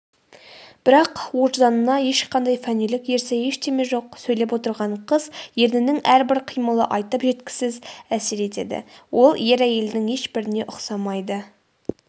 бірақ өжданында ешқандай фәнилік ерсі ештеме жоқ сөйлеп отырған қыз ернінің әрбір қимылы айтып жеткісіз әсер етеді ол ер-әйелдің ешбіріне ұсамайды